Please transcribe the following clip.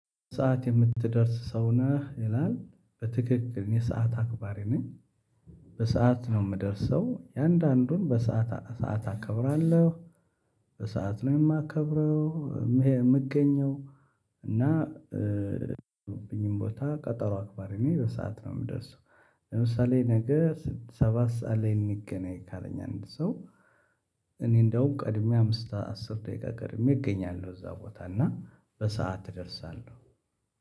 በሰአት የምትደርስ ሰው ነህ ይላል በትክክል እኔ ሰዓት አክባሪ ነኝ። በሰአት ነው የምደርሰው የእያንዳንዱን በሰአት ሰዓት አከብራለሁ በሰአት ነው የማከብረው። የምገኘው እና ያለብኝን ቦታ ቀጠሮ አክባሪ ነው በሰአት ነው የምደርሰው። ለምሳሌ ነገ ሰባት ሰዓት ላይ እንገናኝ ካለኝ አንድ ሰው እኔ እንደውም ቀድሜ አምስት አስር ደቂቃ ቀድሜ እገኛለሁ እዛ ቦታ እና በሰአት እደርሳለሁ።